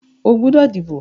O gbọ́dọ̀ díbò!